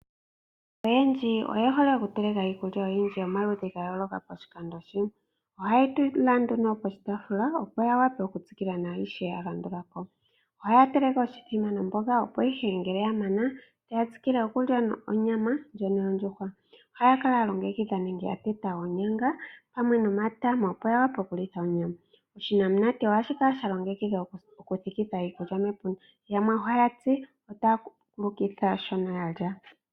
Aantu oyendji oye hole oku teleka iikulya oyindji yomaludhi ga yo loka poshikando shimwe. Ohayi etwa nduno poshitafula opo ya wape oku tsikila nashoka shalandulako. Ohaya teleke oshithima nomboga opo ihe ngele ya mana otaya tsikile okulya onyama ndjono yondjuhwa, oha ya kala ya longekidha onyanga pamwe nomatama opo ya wape oku telekitha onyama oshinamunate ohashi kala shalongekidhwa oku thikitha iikulya mepunda, pamukalo goku kulukitha shoka yalya.